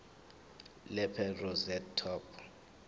lapel rosette top